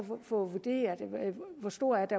få vurderet hvor stort